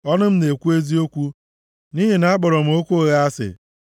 Ọnụ m na-ekwu eziokwu nʼihi na akpọrọ m okwu ụgha asị.